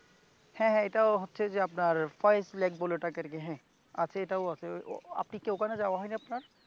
হ্যাঁ হ্যাঁ এটাও হচ্ছে যে আপনার ফয়েজ লেক বলে ওটাকে আর কি, আছে এটাও আছে আপনি কি ওখানে যাওয়া হয়নি আপনার?